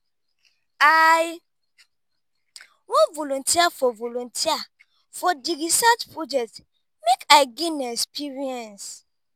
i wan volunteer for volunteer for di research project make i gain experience.